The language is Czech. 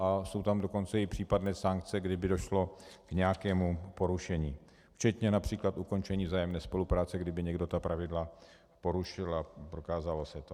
A jsou tam dokonce i případné sankce, kdyby došlo k nějakému porušení, včetně například ukončení vzájemné spolupráce, kdyby někdo ta pravidla porušil a prokázalo se to.